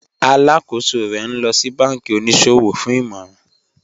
Alákọsọ̀ rè ní lọ sí bánkí oníṣọwọ̀ fún ìmọ̀ràn